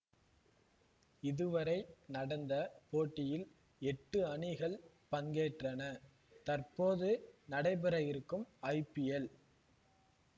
இதுவரை நடந்த போட்டியில் எட்டு அணிகள் பங்கேற்றன தற்போது நடைபெற இருக்கும் ஐபிஎல்